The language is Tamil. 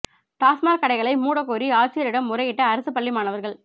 டாஸ்மாக் கடைகளை மூட கோரி ஆட்சியரிடம் முறையிட்ட அரசு பள்ளி மாணவர்கள்